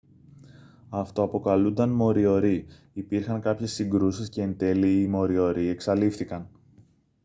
αυτοαποκαλούνταν μοριορί υπήρχαν κάποιες συγκρούσεις και εντέλει οι μοριορί εξαλείφθηκαν